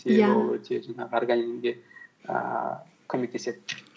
өте жаңағы организмге ііі көмектеседі